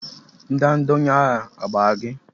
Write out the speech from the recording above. Ndanda onye agha a gbara gi?